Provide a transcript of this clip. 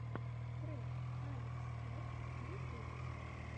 трек алекс кэт в ютубе